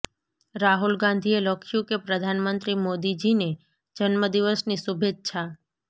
રાહુલ ગાંધીએ લખ્યું કે પ્રધાનમંત્રી મોદી જી ને જન્મદિવસની શુભેચ્છા